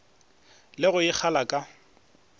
le go e kgala ka